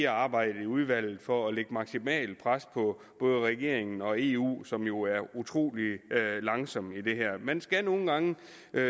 arbejde i udvalget for at lægge maksimalt pres på både regeringen og eu som jo er utrolig langsomme i det her man skal nogle gange